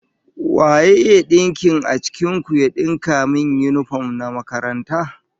Wa ya iya dinkin a cikin ku ya dinka min yinifom na makaranta?